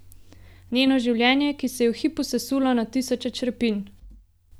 Njeno življenje, ki se je v hipu sesulo na tisoče črepinj.